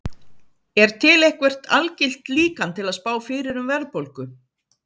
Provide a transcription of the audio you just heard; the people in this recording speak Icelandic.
Er til eitthvert algilt líkan til að spá fyrir um verðbólgu?